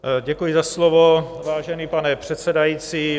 Děkuji za slovo, vážený pane předsedající.